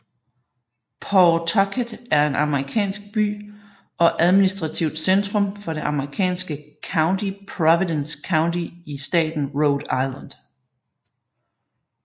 Pawtucket er en amerikansk by og administrativt centrum for det amerikanske county Providence County i staten Rhode Island